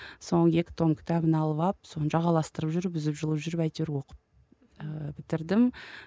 соның екі том кітабын алып алып соны жағаластырып жүріп үзіп жұлып жүріп әйтеуір оқып ііі бітірдім